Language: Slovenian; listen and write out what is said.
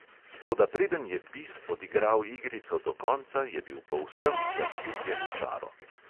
Toda preden je bis odigral igrico do konca, je bil povsem zaljubljen v čaro.